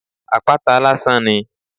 Apata lásán ni.